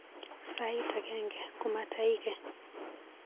Sait agenge komataike.